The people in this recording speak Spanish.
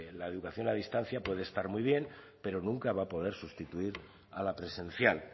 la educación a distancia puede estar muy bien pero nunca va a poder sustituir a la presencial